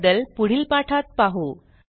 त्याबद्दल पुढील पाठात पाहू